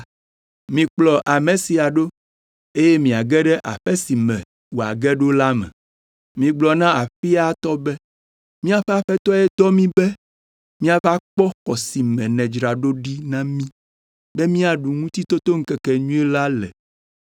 Mikplɔ ame sia ɖo eye miage ɖe aƒe si me wòage ɖo la me. Migblɔ na aƒea tɔ be, ‘Míaƒe Aƒetɔe dɔ mí be míava kpɔ xɔ si me nèdzra ɖo ɖi na mí be míaɖu Ŋutitotoŋkekenyui la le!’